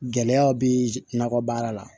Gɛlɛyaw bɛ nakɔ baara la